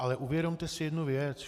Ale uvědomte si jednu věc.